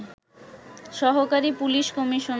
সহকারী police commissioner